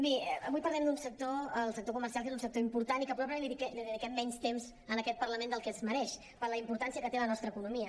bé avui parlem d’un sector el sector comercial que és un sector important i que probablement li dedi·quem menys temps en aquest parlament del que es mereix per la importància que té en la nostra economia